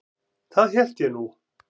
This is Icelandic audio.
Það hélt ég nú.